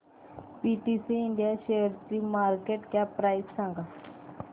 PTC India शेअरची market cap price सांगा